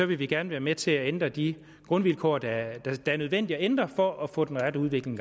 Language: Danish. vil vi gerne være med til at ændre de grundvilkår der er nødvendige at ændre for at få den rette udvikling